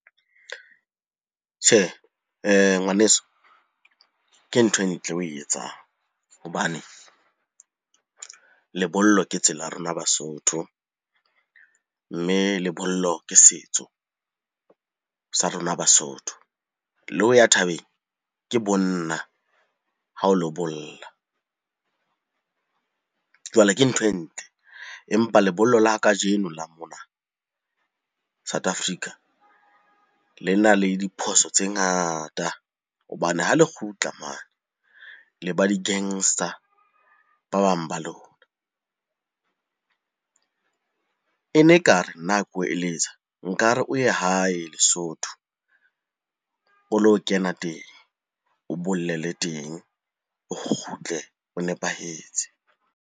Tjhe, Ngwaneso ke ntho e ntle o e etsang hobane lebollo ke tsela ya rona Basotho. Mme lebollo ke setso sa rona Basotho, le ho ya thabeng ke bonna ha o lo bolla. Jwale ke ntho e ntle, empa lebollo la kajeno la mona South Africa le na le diphoso tse ngata hobane ha le kgutla mane le ba di-gangster ba bang ba lona. E ne ekare nna ha ko eletsa nkare o ye hae Lesotho o lo kena teng, o bollele teng. O kgutle o nepahetse.